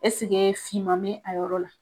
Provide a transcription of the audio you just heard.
finma mi a yɔrɔ la.